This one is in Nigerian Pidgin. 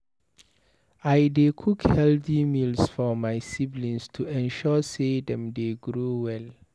I dey cook healthy meals for my siblings to ensure sey dem dey grow well.